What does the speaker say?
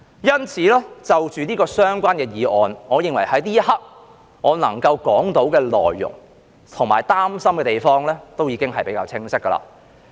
因此，就這項議案來說，我認為在這一刻，我想表達的及我擔心的地方也比較清晰了。